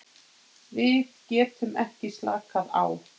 Við getum ekki slakað á.